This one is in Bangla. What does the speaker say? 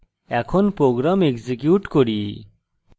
এখন program execute করি